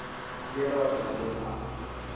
mbuyelo wa dyondzo wun wana